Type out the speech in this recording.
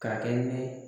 K'a kɛ ni